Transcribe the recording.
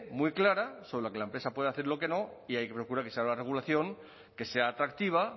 muy clara sobre lo que la empresa puede hacer y lo que no y hay que procurar que se haga una regulación que sea atractiva